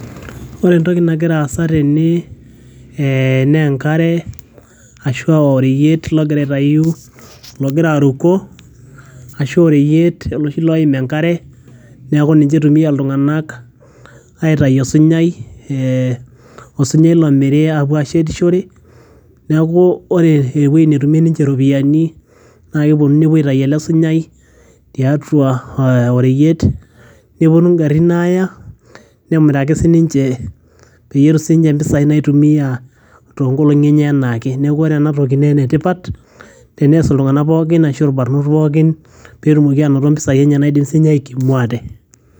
ore entoki nagira aasa tene eh, naa enkare ashua oreyiet logira aitayu logira aruko ashu oreyiet oloshi loim enkare neeku ninche eitumia iltung'anak aitayu osunyai eh, osunyai lomiri apuo ashetishore niaku ore ewueji netumie ninche iropiyiani naa keponu nepuo aitai ele sunyai tiatua eh oreyiet neponu ingarrin aaya nemiraki sininche peyie etum sininche impisai naitumia tonkolong'i enye enaake neeku ore enatoki naa enetipat tenees iltung'anak pookin ashu irbarnot pookin petumoki anoto impisai naidim sinye aikimu ate.